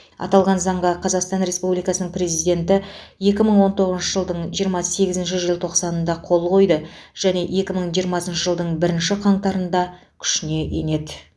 аталған заңға қазақстан республикасының президенті екі мың он тоғызыншы жылдың жиырма сегізінші желтоқсанында қол қойды және екі мың жиырмасыншы жылдың бірінші қаңтарында күшіне енеді